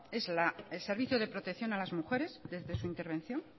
es el servicio de protección a las mujeres desde su intervención